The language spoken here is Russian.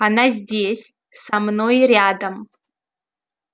она здесь со мной рядом